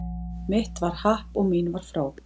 Mitt var happ og mín var fró